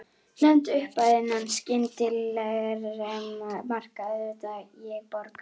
Nefndu upphæð, innan skynsamlegra marka auðvitað, og ég borga.